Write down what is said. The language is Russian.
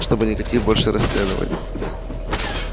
чтобы никаких больше расследований